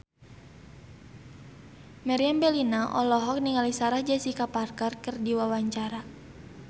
Meriam Bellina olohok ningali Sarah Jessica Parker keur diwawancara